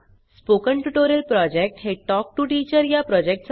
spoken tutorial project हे talk to teacher या प्रॉजेक्टचा भाग आहे